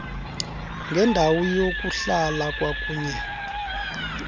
ngendawo yokuhlala kwakunye